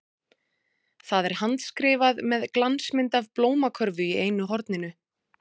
Það er handskrifað með glansmynd af blómakörfu í einu horninu.